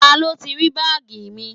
Ta ló ti rí báàgì mi?